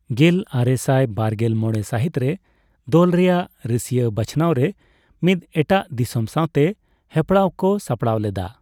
ᱜᱮᱞ ᱟᱨᱮᱥᱟᱭ ᱵᱟᱨᱜᱮᱞ ᱢᱚᱲᱮ ᱥᱟᱹᱦᱤᱛ ᱨᱮ ᱫᱚᱞ ᱨᱮᱭᱟᱜ ᱨᱟᱹᱥᱭᱟᱹ ᱵᱟᱪᱷᱱᱟᱣ ᱨᱮ ᱢᱤᱫ ᱮᱴᱟᱜ ᱫᱤᱥᱚᱢ ᱥᱟᱸᱣᱛᱮ ᱦᱮᱯᱨᱟᱣ ᱠᱚ ᱥᱟᱯᱲᱟᱣ ᱞᱮᱫᱟ ᱾